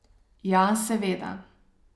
Ja, seveda.